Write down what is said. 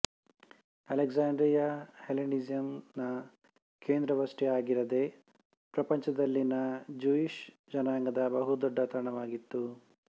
Alexandria ಹೆಲ್ಲೇನಿಸಂನ ಕೇಂದ್ರವಷ್ಟೇ ಆಗಿರದೆ ಪ್ರಪಂಚದಲ್ಲಿನ ಜುಯಿಶ್ ಜನಾಂಗದ ಬಹು ದೊಡ್ಡ ತಾಣವಾಗಿತ್ತು